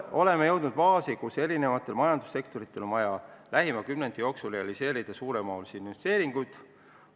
Oleme jõudnud faasi, kus eri majandussektorites on vaja lähima kümnendi jooksul ellu viia väga mahukaid investeeringuid.